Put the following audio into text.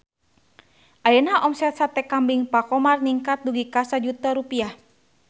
Ayeuna omset Sate Kambing Pak Khomar ningkat dugi ka 1 juta rupiah